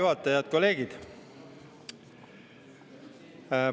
Head kolleegid!